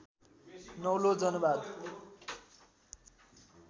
नौलो जनवाद